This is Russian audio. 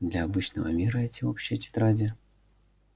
для обычного мира эти общие тетради